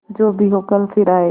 जो भी हो कल फिर आएगा